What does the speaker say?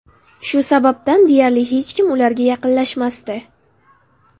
Shu sababdan deyarli hech kim ularga yaqinlashmasdi.